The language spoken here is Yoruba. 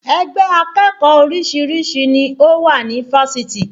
Ẹgbẹ́ akẹ́kọ̀ọ́ oríṣiríṣi ni ó wà ní Fáṣitì